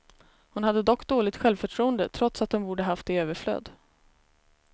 Hon hade dock dåligt självförtroende, trots att hon borde ha haft det i överflöd.